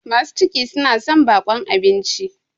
masu ciki suna son baƙon abinci